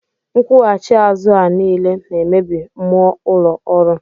Nkwughachi azụ a niile na-emebi mmụọ ụlọ ọrụ